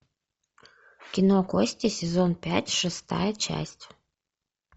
кино кости сезон пять шестая часть